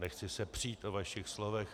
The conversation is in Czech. Nechci se přít o vašich slovech.